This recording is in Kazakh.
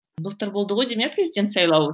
былтыр болды ғой деймін иә президент сайлауы